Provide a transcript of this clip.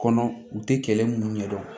Kɔnɔ u tɛ kɛlɛ minnu ɲɛdɔn